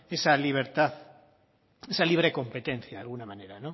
esa libertad esa libre competencia de alguna manera